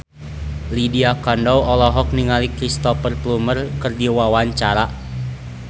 Lydia Kandou olohok ningali Cristhoper Plumer keur diwawancara